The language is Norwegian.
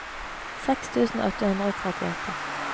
seks tusen åtte hundre og trettiåtte